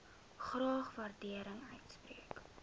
graag waardering uitspreek